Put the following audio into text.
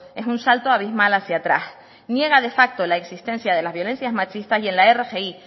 es un salto abismal hacia atrás niega de facto la existencia de las violencias machistas y en la rgi